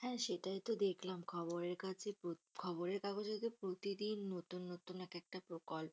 হ্যাঁ সেটাই তো দেখলাম খবরের কাগজে খবরের কাগজে যে প্রতিদিন নতুন নতুন এক একটা প্রকল্প।